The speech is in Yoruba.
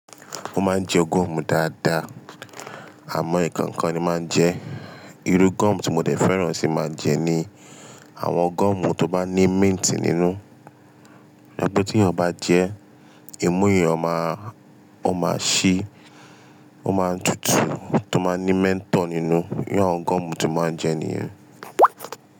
Mo máa ń jẹ gọ́ọ̀mù dáadáa, àmọ̀ nkankan ni màá ń jẹ. Irú gọ́ọ̀mù tí mo dè fẹ́ràn sì máa ń jẹ ni àwọn gọ́ọ̀mù tó bá ní mint nínú. Ọ̀pẹ tí èèyàn bá jẹ, imú èèyàn ó máa, ó máa ṣí, ó máa tutù tó má ní mint nínú. Írú àwọn gọ́ọ̀mù tí màá ń jẹ nìyẹn.